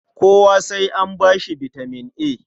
Kowa sai an ba shi bitaman A?